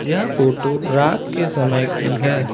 यह फोटो रात के समय की है।